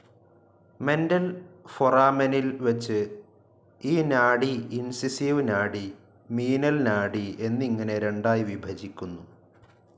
Mental ഫോറാമെനിൽ വെച്ചു ഈ നാഡി ഇൻസൈസിവ്‌ നാഡി, മീനൽ നാഡി എന്നിങ്ങനെ രണ്ടായി വിഭജിക്കുന്നു.